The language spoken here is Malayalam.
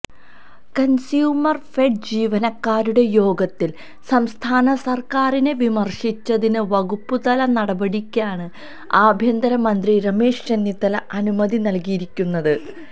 കൺസ്യൂമർഫെഡ് ജീവനക്കാരുടെ യോഗത്തിൽ സംസ്ഥാന സർക്കാരിനെ വിമർശിച്ചതിന് വകുപ്പുതല നടപടിക്കാണ് ആഭ്യന്തരമന്ത്രി രമേശ് ചെന്നിത്തല അനുമതി നല്കിയിരിക്കുന്നത്